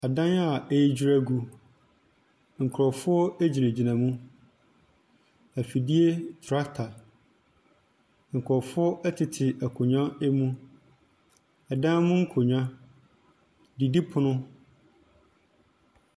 Ɔdan a edwere egu. Nkrɔfoɔ egyina gyina mu. Efidie trakta, nkrɔfoɔ ɛtete nkonnwa ɛmu, dan mu nkonnwa, didi pono.